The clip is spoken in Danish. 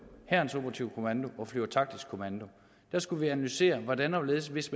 hærens operative kommando og flyvertaktisk kommando vi skulle analysere hvordan og hvorledes hvis